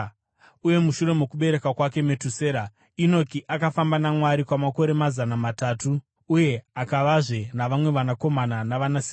Uye mushure mokubereka kwake Metusera, Enoki akafamba naMwari kwamakore mazana matatu uye akavazve navamwe vanakomana navanasikana.